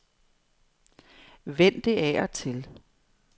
Vend det af og til.